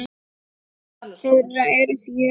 Börn þeirra eru fjögur.